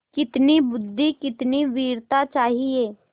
कितनी बुद्वि कितनी वीरता चाहिए